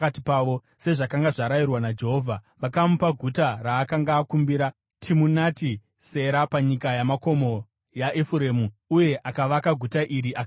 sezvakanga zvarayirwa naJehovha. Vakamupa guta raakanga akumbira, Timunati Sera panyika yamakomo yaEfuremu. Uye akavaka guta iri akagaramo.